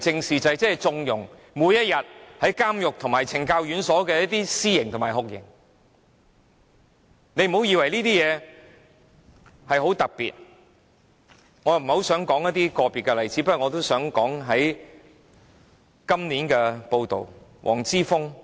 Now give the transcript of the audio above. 每一天都有人在監獄和懲教院所施行私刑和酷刑，我不想談論個別例子，但我想提述一則有關黃之鋒的報道。